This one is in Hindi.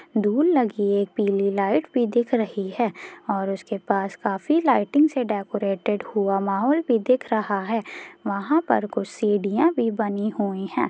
धूल लगी एक पीली लाइट भी दिख रही है और उसके पास काफी लाइटिंग से डेकोरेटेड हुआ माहौल भी दिख रहा है वहाँ पर कुछ सीढ़ियाँ भी बनी हुई है।